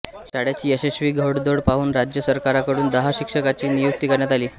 शाळेची यशस्वी घौडदौड पाहून राज्य सरकारकडून दहा शिक्षकांची नियुक्ती करण्यात आली